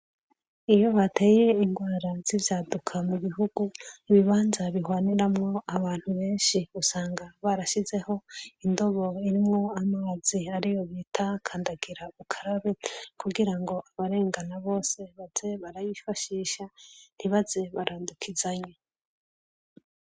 Iyo hateye ingwara z'ivyaduka mu bihugu, ibibanza bihwaniramwo abantu benshi, usanga barashizeho indobo irimwo amazi ariyo bita kandagira ukarabe kugira ngo abarengana bose baze barayifashisha ntibaze barandukizanya.